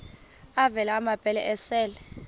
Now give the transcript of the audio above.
avela amabele esel